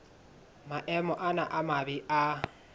maemo ana a mabe a